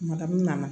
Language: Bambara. nana